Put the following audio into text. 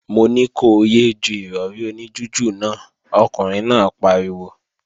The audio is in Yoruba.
Mo ní ko yé é ju Ìrọ̀rí oní jújù náà, ọkùnrin náà pariwo!